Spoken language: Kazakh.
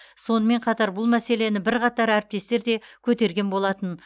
сонымен қатар бұл мәселені бірқатар әріптестер де көтерген болатын